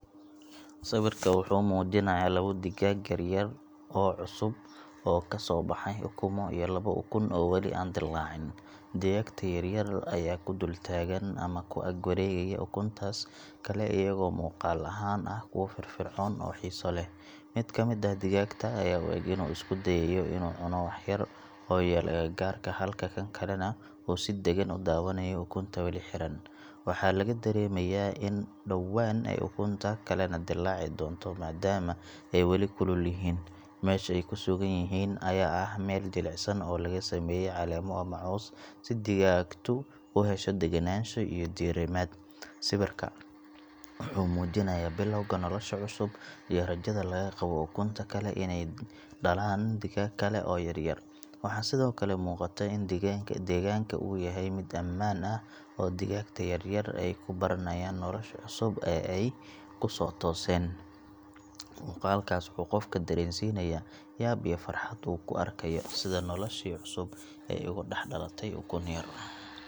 Sawirka wuxuu muujinayaa labo digaag yar yar ah oo cusub oo kasoo baxay ukumo iyo labo ukun oo weli aan dillaacin. Digaagta yar yar ayaa ku dul taagan ama ku ag wareegaya ukuntaas kale iyagoo muuqaal ahaan ah kuwo firfircoon oo xiiso leh. Mid ka mid ah digaagta ayaa u eg inuu isku dayayo inuu cuno wax yar oo yaal agagaarka halka kan kalena uu si deggan u daawanayo ukunta weli xiran. Waxaa laga dareemayaa in dhowaan ay ukunta kalena dillaaci doonto maadaama ay weli kulul yihiin. Meesha ay ku sugan yihiin ayaa ah meel jilicsan oo laga sameeyay caleemo ama caws si digaagtu u hesho degganaansho iyo diirimaad. Sawirka wuxuu muujinayaa bilowga nolosha cusub iyo rajada laga qabo ukunta kale inay dhalaan digaag kale oo yaryar. Waxaa sidoo kale muuqata in deegaanka uu yahay mid ammaan ah oo digaagta yaryar ay ku baranayaan nolosha cusub ee ay kusoo tooseen. Muuqaalkaas wuxuu qofka dareensiinayaa yaab iyo farxad uu ku arkayo sida noloshii cusub ay uga dhex dhalatay ukun yar.